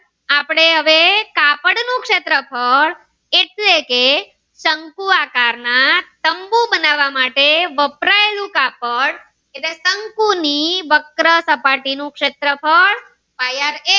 આપડે હવે કાપડ નું શેત્રફ્ળ એટલે કે શંકુ આકાર ના તંબુ બનાવા માટે વપરાયેલું કાપડ એટલે શંકુ ની વક્રસપાટી નું શેત્રફ્ળ pai aar squre